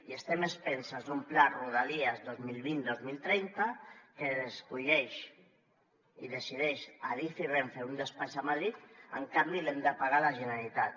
i estem a expenses d’un pla de rodalies dos mil vint dos mil trenta que escullen i decideixen adif i renfe en un despatx a madrid en canvi l’hem de pagar la generalitat